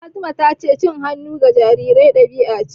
Fatima ta ce cin hannu ga jarirai ɗabi'a ce.